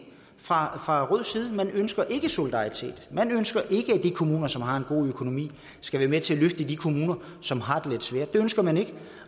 fra rød side man ønsker ikke solidaritet man ønsker ikke at de kommuner som har en god økonomi skal være med til at løfte de kommuner som har det lidt svært det ønsker man ikke